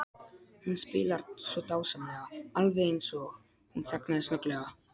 Hún spilar svo dásamlega, alveg eins og. Hún þagnaði snögglega.